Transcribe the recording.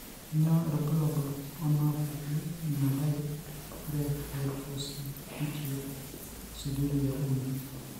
Kainyio irbulabul onaapuku emethyl are hydroxybutyric aciduria uni?